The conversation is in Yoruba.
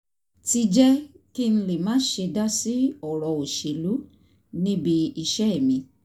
ti jẹ́ kí n lè má ṣe dá sí ọ̀rọ̀ òṣèlú níbi iṣẹ́ mi